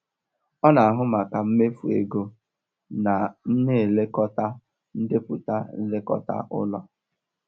Ọ na-ahụ maka mmefu ego na m na-elekọta ndepụta nlekọta ụlọ.